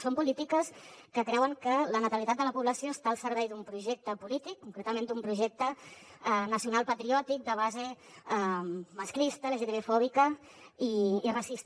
són polítiques que creuen que la natalitat de la població està al servei d’un projecte polític concretament d’un projecte nacional patriòtic de base masclista lgtbi fòbica i racista